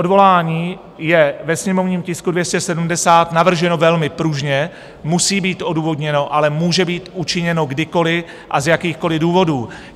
Odvolání je ve sněmovním tisku 270 navrženo velmi pružně, musí být odůvodněno, ale může být učiněno kdykoliv a z jakýchkoliv důvodů.